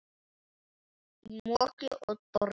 Í móki og dormi.